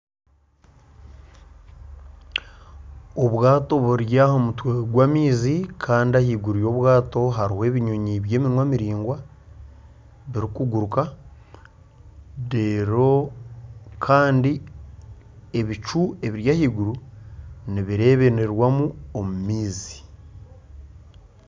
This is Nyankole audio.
Obwato buri aha mutwe gw'amaizi kandi ahaiguru hariyo ebinyonyi by'eminwa miringwa birikuguruka kandi ebicu ebiri ahaiguru nibireeberwamu omu maizi